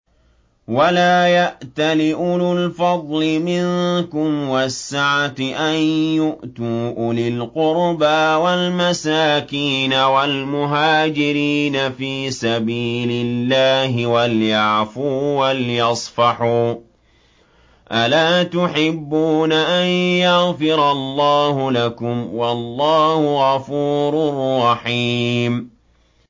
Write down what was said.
وَلَا يَأْتَلِ أُولُو الْفَضْلِ مِنكُمْ وَالسَّعَةِ أَن يُؤْتُوا أُولِي الْقُرْبَىٰ وَالْمَسَاكِينَ وَالْمُهَاجِرِينَ فِي سَبِيلِ اللَّهِ ۖ وَلْيَعْفُوا وَلْيَصْفَحُوا ۗ أَلَا تُحِبُّونَ أَن يَغْفِرَ اللَّهُ لَكُمْ ۗ وَاللَّهُ غَفُورٌ رَّحِيمٌ